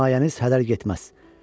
Bu himayəniz hədər getməz.